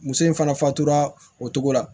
Muso in fana fatura o cogo la